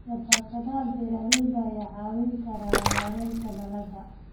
Shabakadaha beeralayda ayaa kaa caawin kara maaraynta dalagga.